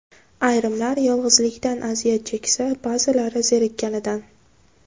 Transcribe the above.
Ayrimlar yolg‘izlikdan aziyat cheksa, ba’zilari zerikkanidan.